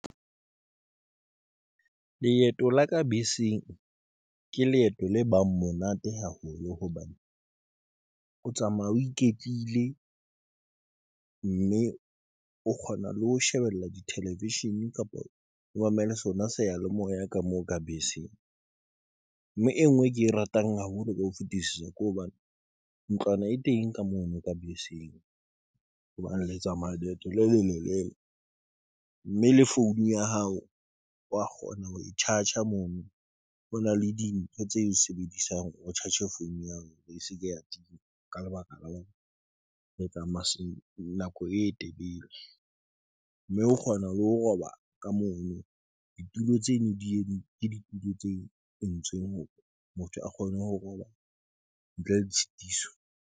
Leeto la ka beseng ke leeto le bang monate haholo hobane o tsamaya o iketlile mme o kgona le ho shebella di television kapa o mamele sona. Seya le moya ka moo ka beseng mme e ngwe e ke e ratang haholo ka ho fetisisa. Ke hobane ntlwana e teng ka mono ka beseng hobane le tsamaya leeto le lelelele mme le founung ya hao wa kgona ho e tshatshe. Mono ho na le dintho tse sebediswang hore tshatshe founu ya hao. E seke ya tima. Ka lebaka la rona re tsamaisong o nako e telele mme ho kgona ho roba ka mono. Ditulo tse ne ditulo tse entsweng hore motho a kgone ho roba ntle le tshitiso.